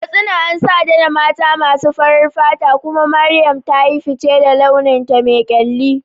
Katsina an santa da mata masu farar fata, kuma Mariam ta yi fice da launinta me kyalli.